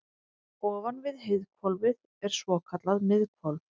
ofan við heiðhvolfið er svokallað miðhvolf